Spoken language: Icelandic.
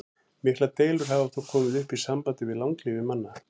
Miklar deilur hafa þó komið upp í sambandi við langlífi manna.